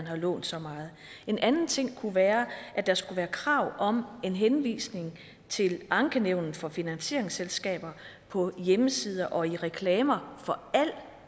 har lånt så meget en anden ting kunne være at der skulle være krav om en henvisning til ankenævnet for finansieringsselskaber på hjemmesider og i reklamer for al